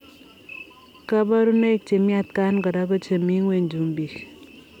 Kaparunoik chemii atkaan koraa ko chemii ngweny chumbik eng